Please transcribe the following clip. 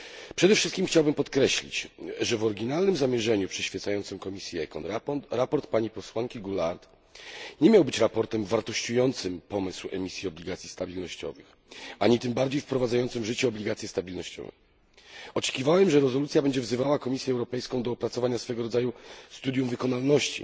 Przede wszystkim chciałbym podkreślić, że w oryginalnym zamierzeniu przyświecającym komisji ECON sprawozdanie posłanki Goulard nie miało być sprawozdaniem wartościującym pomysł emisji obligacji stabilnościowych, ani tym bardziej wprowadzającym w życie obligacje stabilnościowe. Oczekiwałem, że rezolucja będzie wzywała Komisję Europejską do opracowania swego rodzaju studium wykonalności